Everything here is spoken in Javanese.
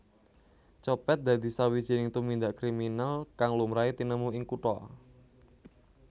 Copet dadi sawijining tumindak kriminal kang lumrahe tinemu ing kutha